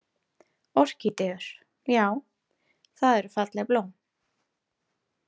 Orkídeur, já, það eru falleg blóm